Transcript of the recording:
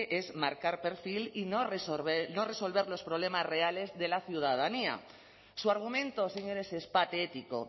es marcar perfil y no resolver los problemas reales de la ciudadanía su argumento señores es patético